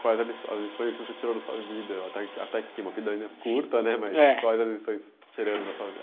quais as liçõ as lições que você tirou da sua vida, até aqui até aqui, uma vida ainda curta, né, é mas quais as lições tirando da sua